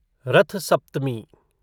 रथ सप्तमी